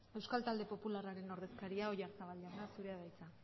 euskal talde popularren ordezkaria oyarzabal jauna zurea da hitza